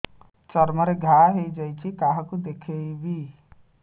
ଚର୍ମ ରେ ଘା ହୋଇଯାଇଛି କାହାକୁ ଦେଖେଇବି